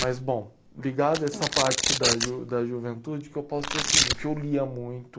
Mas, bom, ligado a essa parte da ju da juventude, o que eu posso dizer é o seguinte, eu lia muito.